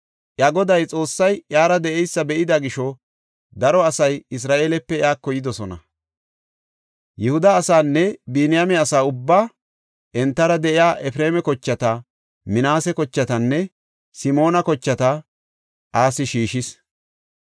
Iya Goday Xoossay iyara de7eysa be7ida gisho daro asay Isra7eelepe iyako yidosona. Yihuda asaanne Biniyaame asa ubbaa, entara de7iya Efreema kochata, Minaase kochatanne Simoona kochata Asi shiishis.